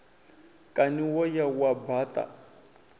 kani wo ya wa baṱa